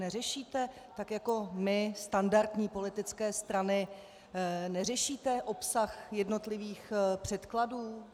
Neřešíte tak jako my, standardní politické strany, neřešíte obsah jednotlivých předkladů?